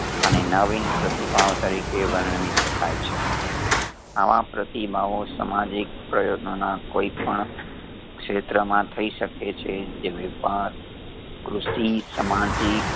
અને નવીન પ્રતિભાવ તરીકે વર્ણવી શકાય છે આવા પ્રતિભાવો સમાજિક પ્રયોગો ના કોઈ પણ ક્ષેત્ર માં થઈ શકે છે જે વ્યાપાર કૃષિ સમાજિક